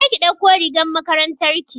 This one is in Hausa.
je ki ɗauko rigar makarantar ki!